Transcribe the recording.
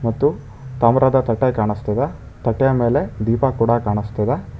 ಮತ್ತು ತಾಮ್ರದ ತಟ್ಟೆ ಕಾಣಿಸ್ತಿದೆ ತಟ್ಟೆ ಮೇಲೆ ದೀಪ ಕೂಡ ಕಾಣಿಸ್ತಿದೆ.